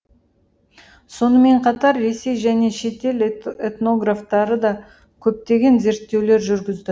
сонымен қатар ресей және шетел этнографтары да көптеген зерттеулер жүргізді